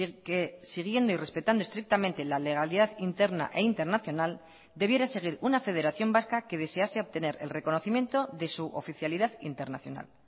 que siguiendo y respetando estrictamente la legalidad interna e internacional debiera seguir una federación vasca que desease obtener el reconocimiento de su oficialidad internacional